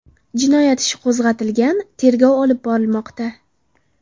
Jinoyat ishi qo‘zg‘atilgan, tergov olib borilmoqda.